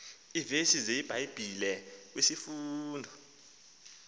iivesi zebhayibhile kwisifundo